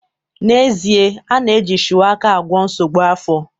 N'ezie, a na-eji shuwaka agwọ nsogbu afọ